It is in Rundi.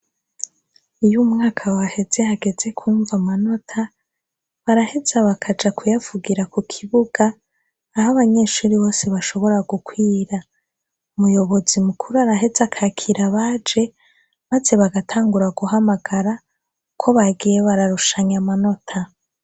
Iyo umwaka waheze hageze kumva amanota baraheza abakaja kuyavugira ku kibuga aho abanyeshuri bose bashobora gukwira umuyobozi mukuru araheza akakira abaje, maze bagatangura guhamagara uko bagiye bararushanya amanota.